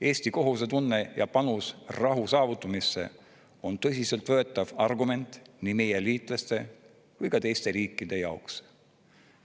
Eesti kohusetunne ja panus rahu saavutamisse on tõsiselt võetav argument nii meie liitlaste kui ka teiste riikide jaoks.